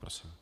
Prosím.